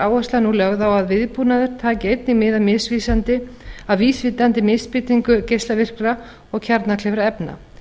áhersla nú lögð á að viðbúnaður taki einnig mið af vísvitandi misbeitingu geislavirkra og kjarnkleyfra efna